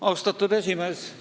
Austatud esimees!